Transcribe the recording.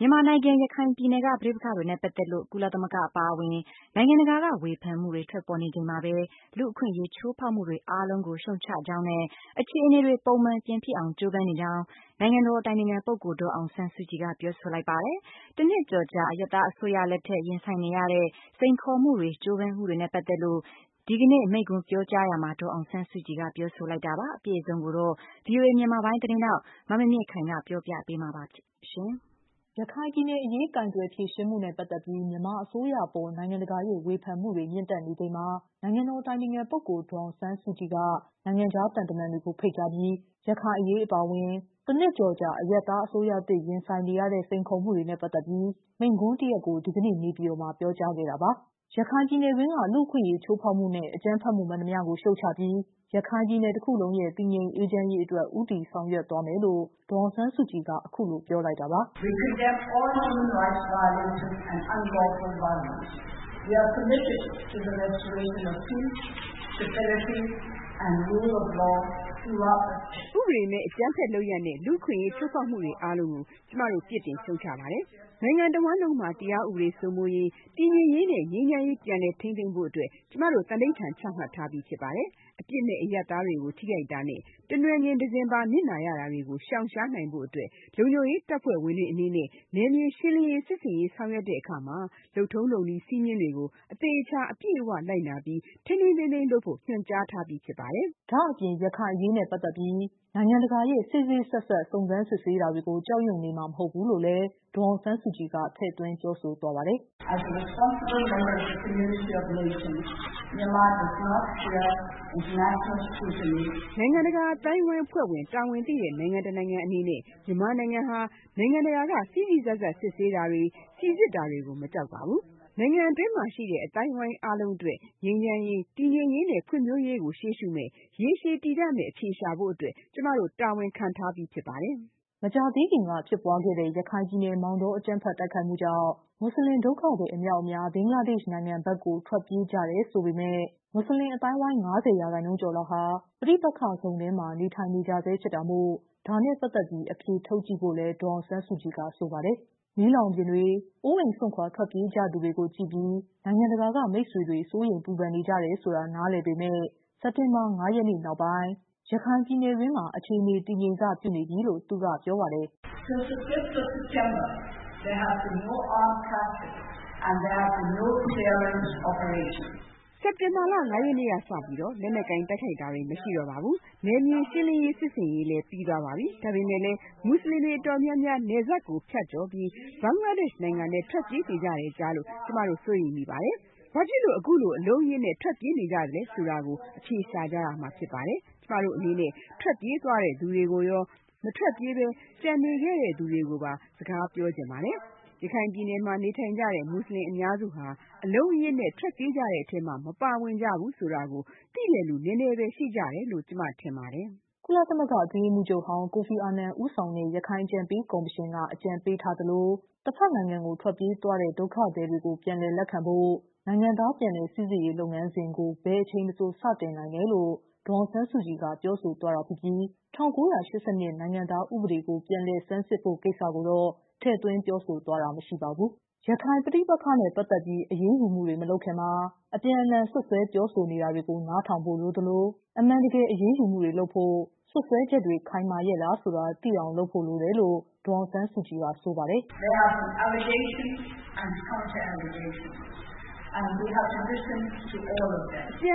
မြန်မာနိုင်ငံ ရခိုင်ပြည်နယ်က ပဋိပက္ခတွေနဲ့ ပတ်သက်လို့ ကုလသမဂ္ဂ အပါအဝင် နိုင်ငံတကာ က ေ၀ ဖန်မှုတွေ ထွက်ပေါ်နေချိန်မှာပဲ လူ့အခွင့်အရေး ချိုးဖောက်မှုတွေ အားလုံးကို ရှုတ်ချကြောင်းနဲ့ အခြေ အနေတွေ ပုံမှန်ပြန်ဖြစ်အောင် ကြိုးပမ်းနေကြောင်း နိုင်ငံတော် အတိုင်ပင်ခံပုဂ္ဂိုလ် ဒေါ်အောင်ဆန်းစု ကြည်က ပြောဆိုလိုက်ပါတယ်။ တနှစ်ကျော်ကြာ အရပ်သားအစိုးရလက်ထက် ရင်ဆိုင်နေရတဲ့ စိန်ခေါ် မှုတွေနဲ့ ပတ်သက်လို့ ကြိုးပမ်းမှုတွေနဲ့ ပတ်သက်လို့ ဒီကနေ့ မိန့်ခွန်းပြောကြားရာမှာ ဒေါ်အောင်ဆန်း စုကြည်က ပြောဆိုလိုက်တာပါ။ အပြည့်အစုံကိုတော့ ဗွီအိုအေ မြန်မာပိုင်း သတင်းထောက် မမြင့်မြင့်ခိုင် က ပြောပြပေးမှာ ဖြစ်ပါတယ်။ ရခိုင်ပြည်နယ်အရေး ကိုင်တွယ်ဖြေရှင်းမှုနဲ့ ပတ်သက်ပြီး မြန်မာအစိုးရအပေါ် နိုင်ငံတကာရဲ့ ဝေဖန်မှု တွေ မြင့်တက်နေချိန်မှာ နိုင်ငံတော် အတိုင်ပင်ခံ ပုဂ္ဂိုလ် ဒေါ်အောင်ဆန်းစုကြည်က နိုင်ငံခြား သံတမန် တွေကို ဖိတ်ကြားပြီး ရခိုင်အရေးအပါအဝင် တနှစ်ကျော်ကြာ အရပ်သား အစိုးရသစ် ရင်ဆိုင်နေရတဲ့ စိန်ခေါ်မှုတွေနဲ့ ပတ်သက်ပြီး မိန့်ခွန်းတရပ် ကို ဒီကနေ့ နေပြည်တော်မှာ ပြောကြားခဲ့တာပါ။ ရခိုင်ပြည်နယ်တွင်းက လူ့အခွင့်အရေးချိုးဖောက်မှုနဲ့ အကြမ်းဖက်မှု မှန်သမျှကို ရှုတ်ချပြီး ရခိုင်ပြည်နယ် တခုလုံးရဲ့ တည်ငြိမ်အေးချမ်းရေးအတွက် ဦးတည် ဆောင်ရွက်သွားမယ်လို့ ဒေါ်အောင်ဆန်းစုကြည်က အခုလို ပြောလိုက်တာပါ။ “ဥပဒေမဲ့အကြမ်းဖက်လုပ်ရပ်နဲ့ လူ့အခွင့်အရေးချိုးဖေါက်မှုအားလုံးကို ကျမတို့ပြစ်တင် ရှုတ်ချပါတယ်။ နိုင်ငံတဝန်းလုံးမှာ တရားဥပဒေစိုးမိုးရေး၊ တည်ငြိမ်ရေးနဲ့ ငြိမ်းချမ်းရေး ပြန်လည် ထိန်းသိမ်းဖို့ အတွက်ကျမတို့ သန္နိဌာန်ချမှတ်ထားပြီးဖြစ်ပါတယ်။ အပြစ်မဲ့အရပ်သားတွေကိုထိခိုက်တာနဲ့ တနွယ်ငင် တစင်ပါ နစ်နာရတာတွေကိုရှောင်ရှား နိုင်ဖို့အတွက်၊ လုံခြုံရေးတပ်ဖွဲ့ဝင်တွေအနေနဲ့ နယ်မြေရှင်းလင်းရေး စစ်ဆင်ရေး ဆောင်ရွက်တဲ့အခါ၊ လုပ်ထုံးလုပ်နည်းစည်းမျဉ်းတွေကို အသေအချာ၊ အပြည့်အဝလိုက်နာပြီး၊ ထိန်းထိန်းသိမ်းသိမ်းလုပ်ဖို့ ညွှန်ကြားထားပြီးဖြစ်ပါတယ်။” ဒါ့အပြင် ရခိုင်အရေးနဲ့ ပတ်သက်ပြီး နိုင်ငံတကာရဲ့ စေ့စေ့စပ်စပ် စုံစမ်းစစ်ဆေးတာတွေကို ကြောက်ရွံ့ နေမှာ မဟုတ်ဘူးလို့ ဒေါ်အောင်ဆန်းစုကြည်က ထည့်သွင်းပြောဆိုသွားပါတယ်။ “နိုင်ငံတကာအသိုင်းအဝိုင်းအဖွဲ့ဝင်၊ တာဝန်သိတဲ့နိုင်ငံတနိုင်ငံအနေနဲ့ မြန်မာနိုင်ငံဟာ နိုင်ငံတကာကဆန်းစစ်တာကို မကြောက်ပါဘူး။ နိုင်ငံအတွင်းမှာရှိတဲ့ အသိုင်းအဝိုင်းအားလုံးအတွက် ငြိမ်းချမ်းရေး၊ တည်ငြိမ်ရေးနဲ့ ဖွံ့ဖြိုးရေးကို ရှေ့ရှုမယ့်၊ ရေရှည်တည်တံ့မယ့်အဖြေရှာဖို့အတွက် ကျမတို့ တာဝန်ခံထားထားပြီးဖြစ်ပါတယ်။” မကြာသေးခင်က ဖြစ်ပွားခဲ့တဲ့ ရခိုင်ပြည်နယ် မောင်တော အကြမ်းဖက်တိုက်ခိုက် မှုကြောင့် မွတ်ဆလင် ဒုက္ခသည် အမြောက်အမြား ဘင်္ဂလားဒေ့ရှ်နိုင်ငံဘက်ကို ထွက်ကြတယ်လို့ ဆိုပေမယ့် မွတ်ဆလင် အသိုင်းအဝိုင်းရဲ့ ၅၀%ကျော်ဟာ ပဋိပက္ခဇုံထဲမှာ နေထိုင်နေကြဆဲဖြစ်တာမို့ ဒါနဲ့ ပတ်သက်ပြီး အဖြေထုတ်ကြည့်ဖို့လည်း ဒေါ်အောင်ဆန်းစုကြည်က ဆိုပါတယ်။ မီးလောင်ပြင်တွေ၊ အိုးအိမ်စွန့်ခွာ ထွက်ပြေးသူတွေကိုကြည့်ပြီး နိုင်ငံတကာက မိတ်ဆွေ စိုးရိမ်ပူပန်နေကြတယ်ဆိုတာ နားလည်ပေမယ့် စက်တင်ဘာ ၅ရက်နေ့နောက်ပိုင်း ရခိုင်ပြည်နယ်တွင်းမှာ တည်ငြိမ်စပြုနေပြီလို့ သူက ပြောပါတယ်။ “စက်တင်ဘာလ ၅ ရက်နေ့ကစပြီး၊ လက်နက်ကိုင်တိုက်ခိုက်တာတွေမရှိတော့ပါဘူး။ နယ်မြေရှင်လင်းရေးစစ်ဆင်ရေးလည်းပြီးသွားပါပြီ။ ဒါပေမဲ့လည်း၊ မူဆလင်တွေ အတော်များများ နယ်စပ်ကိုဖြတ်ကျော်ပြီး Bangladesh နိုင်ငံထဲထွက်ပြေးနေကြတယ်ကြားလို့ ကျမတို့ စိုးရိမ်မကင်းဖြစ်ရပါတယ်။ ဘာဖြစ်လို့အခုလို အလုံးအရင်းထွက်ပြေးနေကြတာလဲဆိုတာကို ကျမတို့သိချင်ပါတယ်။ကျမတို့အနေနဲ့ ထွက်ပြေးသွားတဲ့သူတွေရော၊ မထွက်ပြေးဘဲ ကျန်နေခဲ့တဲ့သူတွေကိုပါ စကားပြောချင်ပါတယ်။ ရခိုင်ပြည်နယ်မှာနေထိုင်ကြတဲ့ မူဆလင်အများစုဟာ အလုံးအရင်းနဲ့ထွက်ပြေးကြတဲ့အထဲမှာမပါဝင်ကြဘူးဆိုတာကို သိတဲ့လူနည်းနည်းဘဲရှိကြတယ်လို့ ကျမထင်ပါတယ်။” ကုလအတွင်းရေးမှူးချုပ်ဟောင်း ကိုဖီအာနန် ဦးဆောင်တဲ့ ရခိုင်အကြံပေးကော်မရှင်က အကြံပေးသလို တဖက်နိုင်ငံကို ထွက်ပြေးသွားတဲ့ ဒုက္ခသည်တွေကို ပြန်လည်လက်ခံဖို့ နိုင်ငံသား ပြန်လည် စိစစ်ရေးလုပ်ငန်းစဉ်ကို ဘယ်အချိန်မဆို စတင်နိုင်တယ်လို့လည်း ဒေါ်အောင်ဆန်းစုကြည်က ပြောသွားတာပြီး ၁၉ ၈၂နိုင်ငံသား ဥပဒေကို ပြန်လည် ဆန်းစစ်ဖို့ကိစ္စကိုတော့ ထည့်သွင်းပြောဆိုသွားတာ မရှိပါဘူး။ ရခိုင်ပဋိပက္ခနဲ့ ပတ်သက်ပြီး အရေးယူမှုတွေမလုပ်ခင်မှာ အပြန်အလှန် စွပ်စွဲပြောဆိုနေတာတွေကို နားထောင်ဖို့လိုသလို အမှန်တကယ် အရေးယူမှုလုပ်ဖို့ စွပ်စွဲချက်တွေ ခိုင်မာရဲလားဆိုတာ သိအောင် လုပ်ဖို့လိုတယ်လို့လည်း ဒေါ်အောင်ဆန်းစုကြည်က ဆိုပါတယ်။ “အပြန်